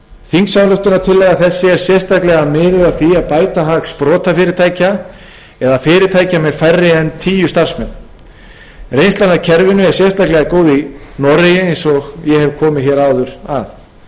þingsályktunartillaga þessi er sérstaklega miðuð að því að bæta hag sprotafyrirtækja eða fyrirtækja með færri en tíu starfsmenn reynslan af kerfinu er sérstaklega góð í noregi eins og ég hef komið hér áður að kerfið hefur komið mikilli hreyfingu á